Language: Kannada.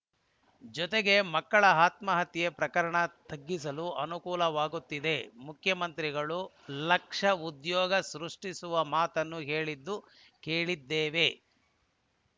ಜೊತೆಗೆ ಮಕ್ಕಳ ಆತ್ಮಹತ್ಯೆ ಪ್ರಮಾಣ ತಗ್ಗಿಸಲೂ ಅನುಕೂಲವಾಗುತ್ತದೆ ಮುಖ್ಯಮಂತ್ರಿಗಳು ಲಕ್ಷ ಉದ್ಯೋಗ ಸೃಷ್ಟಿಸುವ ಮಾತನ್ನು ಹೇಳಿದ್ದು ಕೇಳಿದ್ದೇವೆ